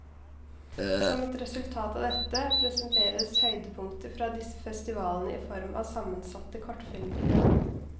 Som et resultat av dette, presenteres høydepunkter fra disse festivalene i form av sammensatte kortfilmprogram.